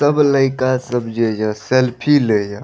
तब लइका सब जे सेल्फी लेय --